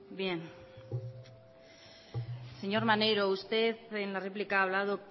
bien señor maneiro usted en la réplica ha hablado